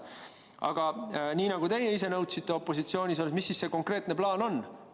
Aga nii nagu teie ise nõudsite opositsioonis olles: mis ikkagi see konkreetne plaan on?